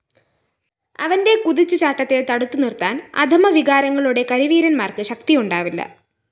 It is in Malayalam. അവന്റെ കുതിച്ചുചാട്ടത്തെ തടുത്തുനിര്‍ത്താന്‍ അധമവികാരങ്ങളുടെ കരിവീരന്മാര്‍ക്ക് ശക്തിയുണ്ടാവില്ല